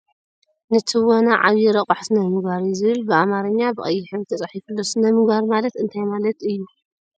ን ትወና ዕብይ ረቓሒ ስነ ምግባር እዩ ዝብል ብ ኣማርኝ ብ ቀይሕ ሕብሪ ተፃሒፉ ኣሎ ። ስነ ምግባር ማለት እንታይ ማለት እዩ ?